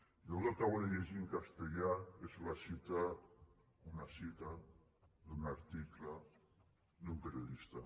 jo el que acabo de llegir en castellà és una cita d’un article d’un periodista